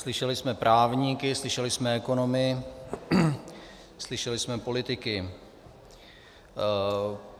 Slyšeli jsme právníky, slyšeli jsme ekonomy, slyšeli jsme politiky.